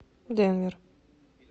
денвер